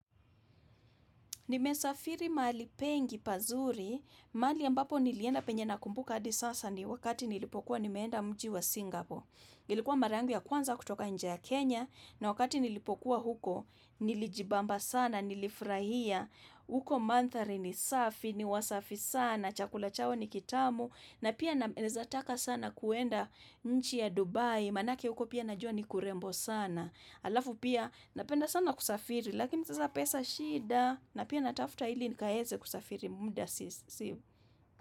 Nimesafiri mahali pengi pazuri, mahali ambapo nilienda penye na kumbuka hadi sasa ni wakati nilipokuwa nimeenda mji wa Singapore. Ilikuwa mara yangu ya kwanza kutoka nje ya Kenya, na wakati nilipokuwa huko, nilijibamba sana, nilifurahia. Huko mandhari ni safi, ni wasafi sana, chakula chao ni kitamu, na pia nawezataka sana kuenda nchi ya Dubai, maanake huko pia najua ni kurembo sana. Halafu pia napenda sana kusafiri lakini sasa pesa shida na pia natafuta ili nikaeze kusafiri muda sisi.